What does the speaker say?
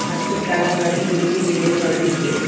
ಮತ್ತು ಕೆಳಗಡೆ ಇನ್ನು ಏಣಿಗಳು ಇವೆ.